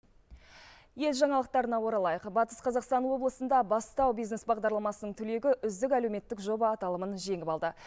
ел жаңалықтарына оралайық батыс қазақстан облысында бастау бизнес бағдарламасының түлегі үздік әлеуметтік жоба аталымын жеңіп алды